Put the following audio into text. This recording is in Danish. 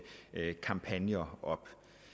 kampagner op